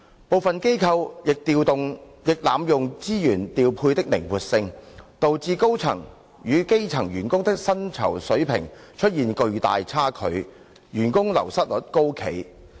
部分機構亦濫用資源調配的靈活性，導致高層與基層員工的薪酬水平出現巨大差距，員工流失率高企。